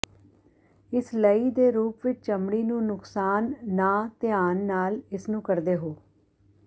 ਇਸ ਲਈ ਦੇ ਰੂਪ ਵਿੱਚ ਚਮੜੀ ਨੂੰ ਨੁਕਸਾਨ ਨਾ ਧਿਆਨ ਨਾਲ ਇਸ ਨੂੰ ਕਰਦੇ ਹੋ